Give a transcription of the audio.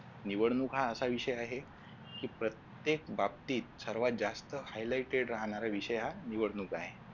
निवडणुका हा असा विषय आहे जो प्रत्येक बाबतीत सर्वात जास्त highlighted राहणारा विषय हा निवडणूक आहे